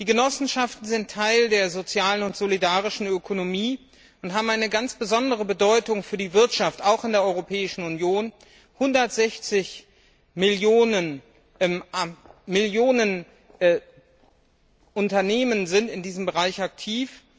Die Genossenschaften sind Teil der sozialen und solidarischen Ökonomie und haben eine ganz besondere Bedeutung für die Wirtschaft auch in der Europäischen Union. 160 Millionen Unternehmen sind in diesem Bereich aktiv.